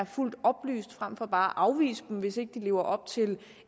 fuldt oplyst frem for bare at afvise dem hvis ikke de lever op til